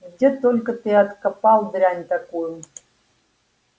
где только ты откопал дрянь такую